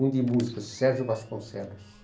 Um de música, Sérgio Vasconcelos.